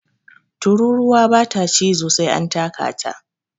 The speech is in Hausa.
Tururuwa ba ta cizo sai an taka ta